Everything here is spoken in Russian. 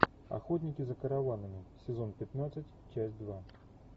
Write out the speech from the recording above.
охотники за караванами сезон пятнадцать часть два